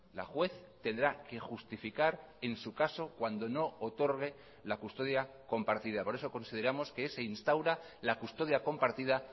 la juez tendrá que justificar en su caso cuando no otorgue la custodia compartida por eso consideramos que se instaura la custodia compartida